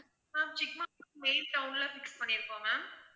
ஆஹ் Chikmagalur main town ல fix பண்ணியிருக்கோம் ma'am